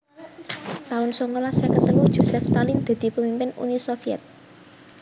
taun songolas seket telu Josef Stalin dadi pamimpin Uni Sovyet